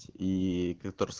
ии котор